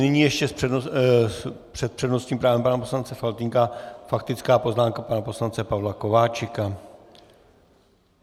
Nyní ještě před přednostním právem pana poslance Faltýnka faktická poznámka pana poslance Pavla Kováčika.